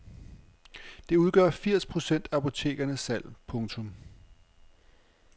Det udgør firs procent af apotekernes salg. punktum